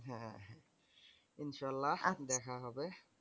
ইনশাল্লাহ দেখা হবে।